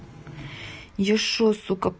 я что сука